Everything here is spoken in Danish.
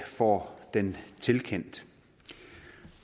får den tilkendt